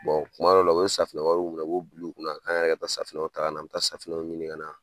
kuma dɔw la u bi safunɛ wariw minɛ, u b'u bila u kun na, k'an yɛrɛ ka taa safunɛw ta ka na an mi taa safunɛw ɲini ka na